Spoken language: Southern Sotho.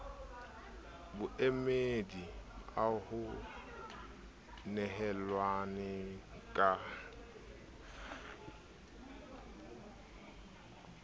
boemedi ao ho nehelanweng ka